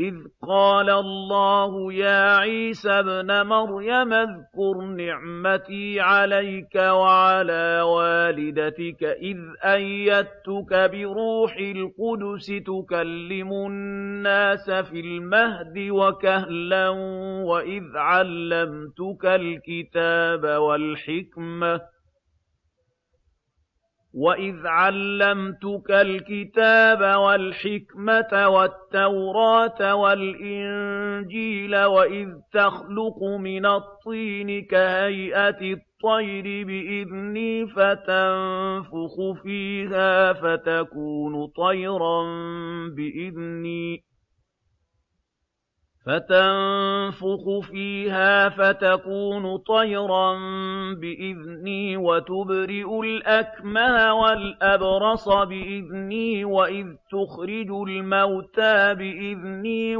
إِذْ قَالَ اللَّهُ يَا عِيسَى ابْنَ مَرْيَمَ اذْكُرْ نِعْمَتِي عَلَيْكَ وَعَلَىٰ وَالِدَتِكَ إِذْ أَيَّدتُّكَ بِرُوحِ الْقُدُسِ تُكَلِّمُ النَّاسَ فِي الْمَهْدِ وَكَهْلًا ۖ وَإِذْ عَلَّمْتُكَ الْكِتَابَ وَالْحِكْمَةَ وَالتَّوْرَاةَ وَالْإِنجِيلَ ۖ وَإِذْ تَخْلُقُ مِنَ الطِّينِ كَهَيْئَةِ الطَّيْرِ بِإِذْنِي فَتَنفُخُ فِيهَا فَتَكُونُ طَيْرًا بِإِذْنِي ۖ وَتُبْرِئُ الْأَكْمَهَ وَالْأَبْرَصَ بِإِذْنِي ۖ وَإِذْ تُخْرِجُ الْمَوْتَىٰ بِإِذْنِي ۖ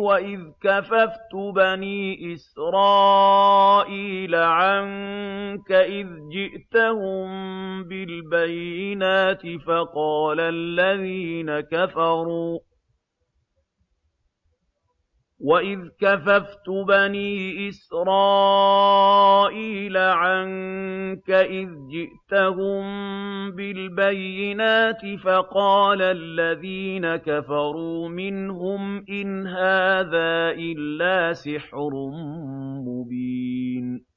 وَإِذْ كَفَفْتُ بَنِي إِسْرَائِيلَ عَنكَ إِذْ جِئْتَهُم بِالْبَيِّنَاتِ فَقَالَ الَّذِينَ كَفَرُوا مِنْهُمْ إِنْ هَٰذَا إِلَّا سِحْرٌ مُّبِينٌ